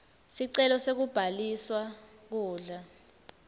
sicelo sekubhaliswa kudla